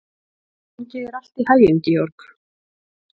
Gangi þér allt í haginn, Georg.